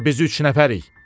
Axı biz üç nəfərik.